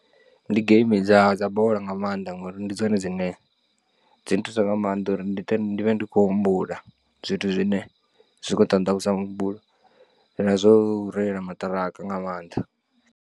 Ndi geimi dza dza bola nga maanḓa ngori ndi dzone dzine dzi nthusa nga maanḓa uri ndi vhe ndi vhe ndi khou humbula zwithu zwine zwikho nṱanḓavhudza muhumbulo na zwo reila maṱiraka nga maanḓa.